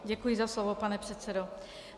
Děkuji za slovo, pane předsedo.